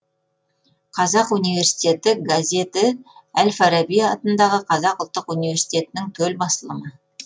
қазақ университеті газеті әл фараби атындағы қазақ ұлттық университетінің төл басылымы